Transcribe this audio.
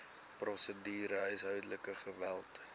prosedure huishoudelike geweld